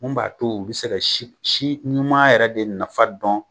Mun b'a to u be se ka si si ɲuman yɛrɛ de nafa dɔn